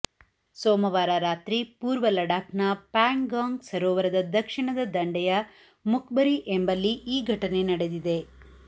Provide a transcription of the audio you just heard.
ಸೋಮವಾರ ರಾತ್ರಿ ಪೂರ್ವ ಲಡಾಖ್ನ ಪ್ಯಾಂಗಾಂಗ್ ಸರೋವರದ ದಕ್ಷಿಣದ ದಂಡೆಯ ಮುಖ್ಪರಿ ಎಂಬಲ್ಲಿ ಈ ಘಟನೆ ನಡೆದಿದೆ